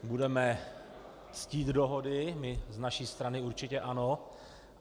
Budeme ctít dohody, my z naší strany určitě ano.